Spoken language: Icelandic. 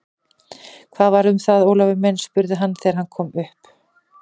Hvað var það, Ólafur minn? spurði hann þegar hann kom upp.